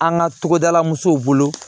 An ka togodala musow bolo